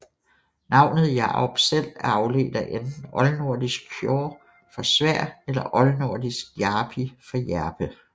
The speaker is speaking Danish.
Navnet Jarup selv er afledt af enten oldnordisk hjǫrr for sværd eller oldnordisk jarpi for hjerpe